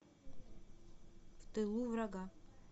в тылу врага